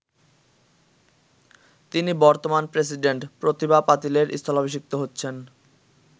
তিনি বর্তমান প্রেসিডেন্ট প্রতিভা পাতিলের স্থলাভিষিক্ত হচ্ছেন।